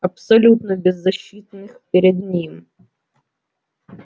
абсолютно беззащитных перед ним